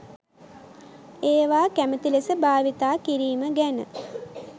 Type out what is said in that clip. ඒවා කැමති ලෙස භාවිතා කිරීම ගැන